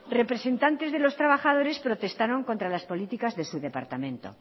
representantes de los trabajadores protestaron contra las políticas de su departamento